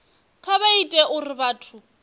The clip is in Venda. kha vha ite uri vhathu